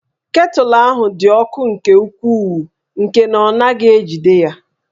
Ketụlụ ahụ dị ọkụ nke ukwuu nke na ọ naghị ejide ya